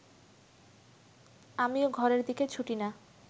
আমি ও ঘরের দিকে ছুটি না